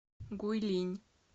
гуйлинь